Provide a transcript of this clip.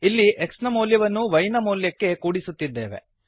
ಇಲ್ಲಿ x ನ ಮೌಲ್ಯವನ್ನು y ನ ಮೌಲ್ಯಕ್ಕೆ ಕೂಡಿಸುತ್ತಿದ್ದೇವೆ